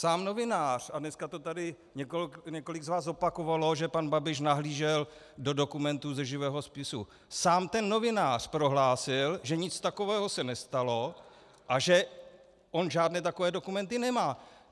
Sám novinář - a dneska to tady několik z vás opakovalo, že pan Babiš nahlížel do dokumentů ze živého spisu - sám ten novinář prohlásil, že nic takového se nestalo a že on žádné takové dokumenty nemá.